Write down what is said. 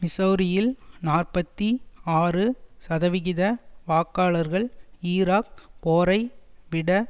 மிசெளரியில் நாற்பத்தி ஆறு சதவிகித வாக்காளர்கள் ஈராக் போரை விட